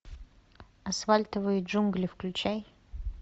асфальтовые джунгли включай